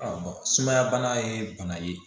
sumaya bana ye bana ye